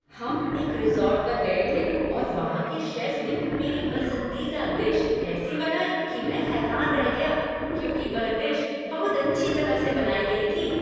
हम एक रिज़ॉर्ट पर गए थे और वहाँ के शेफ ने मेरी पसंदीदा डिश ऐसी बनाई कि मैं हैरान रह गया क्योंकि वह डिश बहुत अच्छी तरह से बनाया गया था।